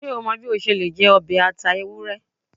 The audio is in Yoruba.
Ṣe o mọ bi o ṣe le jẹ ọbẹ ata ewurẹ?